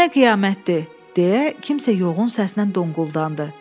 Bu nə qiyamətdir, deyə kimsə yoğun səslə donquldandı.